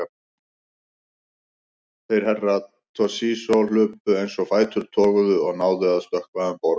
Þeir Herra Toshizo hlupu eins og fætur toguðu og náðu að stökkva um borð.